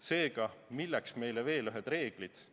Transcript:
Seega, milleks meile veel ühed reeglid?